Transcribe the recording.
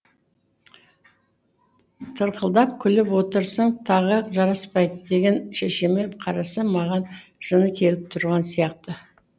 тырқылдап күліп отырсаң тағы жараспайды деген шешеме қарасам маған жыны келіп тұрған сияқты